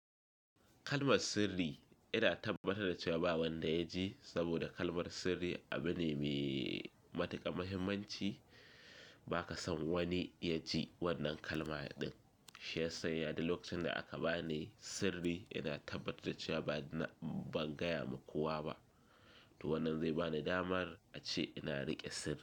Kalmar sirri yana tabbatar da cewa ba wanda ya ji saboda kalmar sirri abu ne mai matukar muhimmanci, ba ka son wani ya ji wannan kalma din. Shi ya sanya da lokacin da aka bani sirri yana tabbatar da cewa ban gaya wa kowa ba. To wannan zai bani damar a ce ina riƙe sirri.